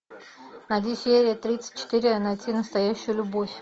найди серия тридцать четыре найти настоящую любовь